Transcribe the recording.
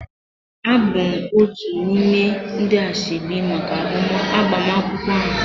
Abụ m otu n'ime ndi asoebi maka agbamakwụkwọ ahụ